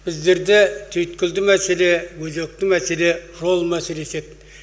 біздерде түйіткілді мәселе өзекті мәселе жол мәселесі еді